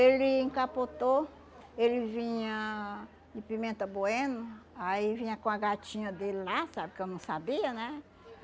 Ele capotou, ele vinha de Pimenta Bueno, aí vinha com a gatinha dele lá, sabe, que eu não sabia, né?